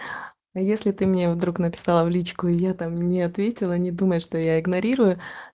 если ты меня вдруг написала в личку и я там не ответила не думай что я игнорирую